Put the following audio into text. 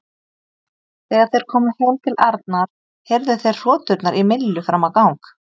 Þegar þeir komu heim til Arnar heyrðu þeir hroturnar í Millu fram á gang.